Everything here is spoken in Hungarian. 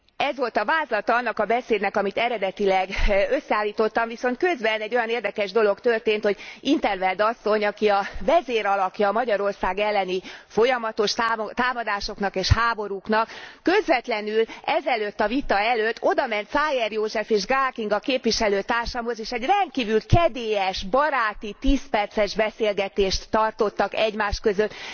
Ez volt a vázlata annak a beszédnek, amit eredetileg összeállítottam, viszont közben egy olyan érdekes dolog történt, hogy in 't Veld asszony, aki a vezérlakja a Magyarország elleni folyamatos támadásoknak és háborúknak, közvetlenül ez előtt a vita előtt odament Szájer Józsefhez és Gál Kinga képviselőtársamhoz, és egy rendkívül kedélyes, baráti 10 perces beszélgetést tartottak egymás között.